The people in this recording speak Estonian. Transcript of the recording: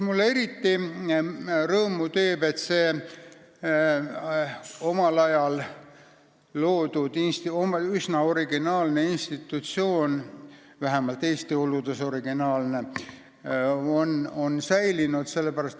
Mulle teeb eriti rõõmu, et see omal ajal loodud üsna originaalne institutsioon, vähemalt Eesti oludes originaalne, on säilinud.